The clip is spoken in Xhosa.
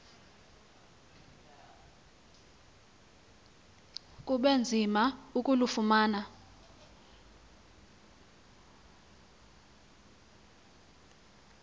kube nzima ukulufumana